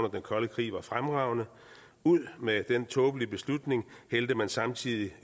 den kolde krig var fremragende ud med den tåbelige beslutning hældte man samtidig